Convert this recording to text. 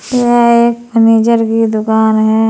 यह एक फर्नीचर की दुकान है।